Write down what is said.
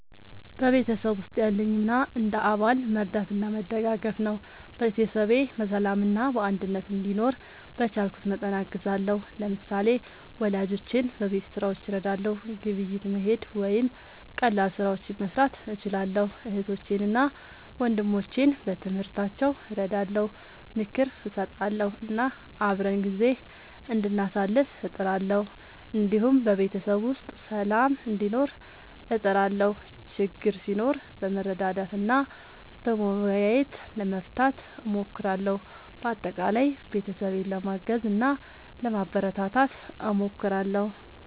በቤተሰብ ውስጥ ያለኝ ሚና እንደ አባል መርዳትና መደጋገፍ ነው። ቤተሰቤ በሰላምና በአንድነት እንዲኖር በቻልኩት መጠን አግዛለሁ። ለምሳሌ፣ ወላጆቼን በቤት ሥራዎች እረዳለሁ፣ ግብይት መሄድ ወይም ቀላል ስራዎችን መስራት እችላለሁ። እህቶቼንና ወንድሞቼን በትምህርታቸው እረዳለሁ፣ ምክር እሰጣለሁ እና አብረን ጊዜ እንዳሳልፍ እጥራለሁ። እንዲሁም በቤተሰብ ውስጥ ሰላም እንዲኖር እጥራለሁ፣ ችግር ሲኖር በመረዳዳት እና በመወያየት ለመፍታት እሞክራለሁ። በአጠቃላይ ቤተሰቤን ለማገዝ እና ለማበረታታት እሞክራለሁ።